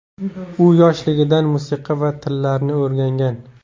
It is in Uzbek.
U yoshligidan musiqa va tillarni o‘rgangan.